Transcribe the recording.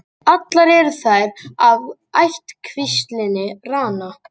Allar eru þær af ættkvíslinni Rana.